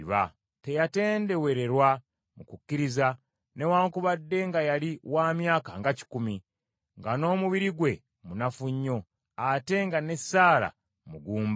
Teyatendewererwa mu kukkiriza, newaakubadde nga yali wa myaka nga kikumi, nga n’omubiri gwe munafu nnyo, ate nga ne Saala mugumba.